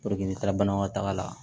n taara banakɔtaga la